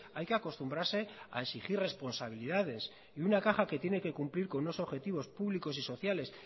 hay que acostumbrarse a exigir responsabilidades y una caja que tiene que cumplir con unos objetivos públicos y sociales